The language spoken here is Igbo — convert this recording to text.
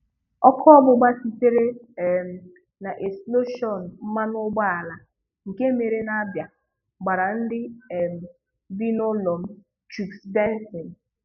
Ọkụ ọgbụgba sitere um na eksploshọnụ mmanụ ụgbọala nke mere n'Abia, gbara ndị um bi n'ụlọ m - Chuks Benson